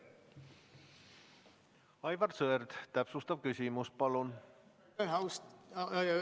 Aivar Sõerd, täpsustav küsimus palun!